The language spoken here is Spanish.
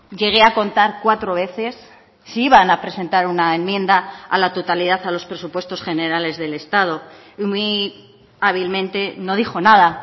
llegué a contar cuatro veces si iban a presentar una enmienda a la totalidad a los presupuestos generales del estado y muy hábilmente no dijo nada